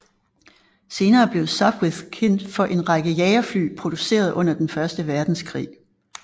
Senere blev Sopwith kendt for en række jagerfly produceret under den første verdenskrig